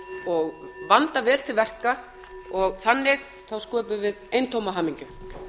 og vanda vel til verka og þannig sköpum við eintóma hamingju